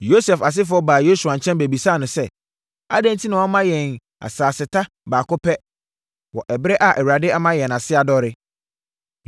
Yosef asefoɔ baa Yosua nkyɛn bɛbisaa no sɛ, “Adɛn enti na woama yɛn asaseta baako pɛ wɔ ɛberɛ a Awurade ama yɛn ase adɔre?”